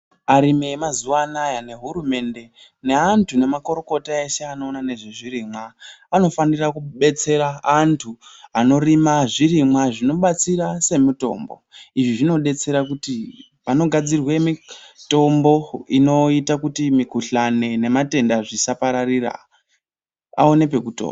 Arimi emazuvano nehurumende neantu nemakorokota eshe anoona nezve zvirimwa anofanira kubetsera antu anorima zvirimwa zvinobatsira semitombo. Izvi zvinodetsera kuti vanogadzira mitombo inoita kuti mikuhlani nematenda zvisapararira aone pekutora.